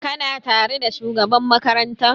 Ka na tare da shugaban makaranta?